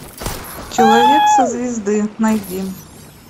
человек со звезды найди